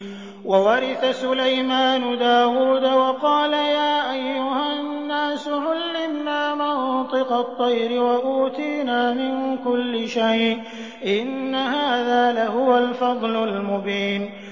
وَوَرِثَ سُلَيْمَانُ دَاوُودَ ۖ وَقَالَ يَا أَيُّهَا النَّاسُ عُلِّمْنَا مَنطِقَ الطَّيْرِ وَأُوتِينَا مِن كُلِّ شَيْءٍ ۖ إِنَّ هَٰذَا لَهُوَ الْفَضْلُ الْمُبِينُ